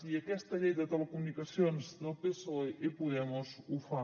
i aquesta llei de telecomunicacions del psoe i podemos ho fa